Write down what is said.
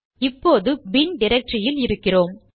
இப்போது பின்bin டிரக்டரியில் இருக்கிறோம்